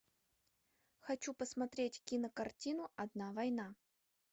хочу посмотреть кинокартину одна война